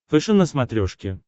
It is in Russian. фэшен на смотрешке